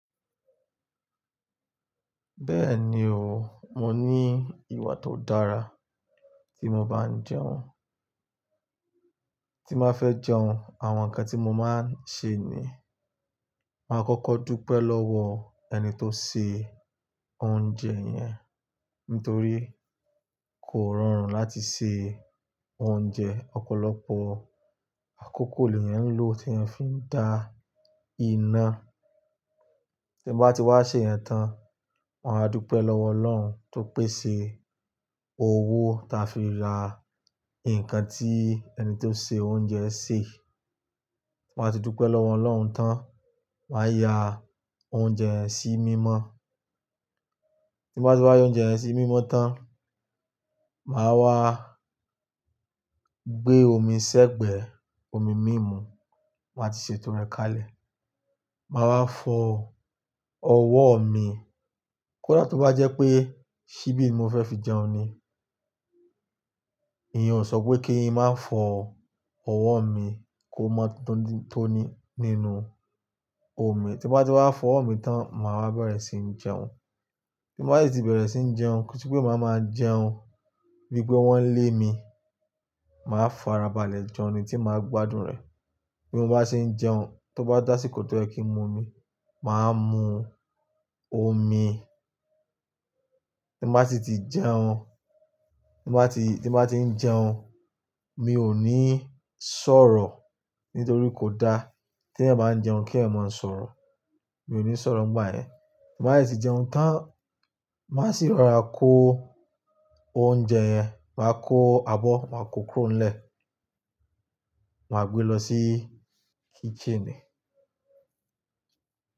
Bẹ́ẹ̀ni o, mo ní ìwà tó dára tí mo bá ń jẹun. Tí mbá fẹ́ jẹun, àwọn ǹkan tí mo má ń ṣe ni, màá kọ́kọ́ dúpẹ́ lọ́wọ ẹni tó ṣe oúnjẹ yẹn, nítorí kò rọrùn láti ṣe oúnjẹ. Ọ̀pọ̀lọpọ̀ àkókò lèèyàn ń lo tí èèyàn fi ń da iná. Tí mo bá ti wá ṣe yẹn tán, màá dúpẹ́ lọ́wọ́ Ọlọ́run tó pèsè owó ta fi ra nkan tí ẹni tó ṣe oúnjẹ ṣe. Mo máa ti dúpẹ́ lọ́wọ́ Ọlọ́run tán, wàá ya oúnjẹ yẹn sí mímọ́. Tí mbá ti wá ya oúnjẹ yẹn sí mímọ́ tán, màá wá gbé omi sẹ́gbẹ̀ẹ́, omi mímu, màá ti ṣetò rẹ kàlẹ̀. Màá wá fọ ọwọ́ mi. Kódà tó bá jẹ́ pé ṣíbí ni mo fẹ́ fi jẹun ni, ìyen ò sọ pé kí n má fọ ọwọ́ mi kó mọ́ tónítóní nínú omi. Tí mo bá ti wá fọ ọwọ́ mi tán, mo màá wá bẹ̀rẹ̀ sí ń jẹun. Tí mo bá sì ti bẹ̀rẹ̀ sí ń jẹun, ko n se pé màá máa jẹun bí i pé wọ́n lé mi. Màá fara balẹ̀ jẹun ni tí màá gbádùn rẹ̀. Bí mo bá ṣe ń jẹun, tó bá tásíkò tó yẹ kí n mu omi, màá mu omi. Tí mo bá ti ti jẹun, tí mo bá ti, tí mo bá ti ń jẹun, mi ò ní sọ̀rọ̀ nítorí kò da t'èèyàn báa ń jẹun kí èèyàn máa ń sọ̀rọ̀. Mi ò ní sọ̀rọ̀ ngbá ẹ. Tí mo bá sì jẹun tán, màá sì rọra kó oúnjẹ yẹn. Màá kó abọ́, màá kó kúrọ́ńlẹ̀, màá gbé lọ sí kitchen mi.